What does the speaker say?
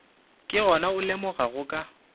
ke gona o lemogago ka